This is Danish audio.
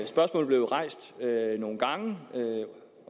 spørgsmålet blev rejst nogle gange